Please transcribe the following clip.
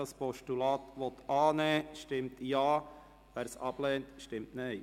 Wer dieses Postulat annehmen will, stimmt Ja, wer dies ablehnt, stimmt Nein.